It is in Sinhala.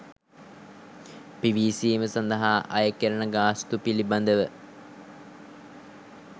පිවිසීම සඳහා අයකෙරෙන ගාස්තු පිළිබඳව